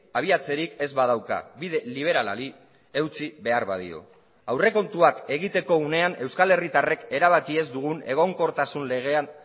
abiatzerik ez badauka bide liberalari eutsi behar badio aurrekontuak egiteko unean euskal herritarrek erabaki ez dugun egonkortasun legean